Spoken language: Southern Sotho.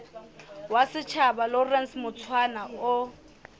wa setjhaba lawrence mushwana o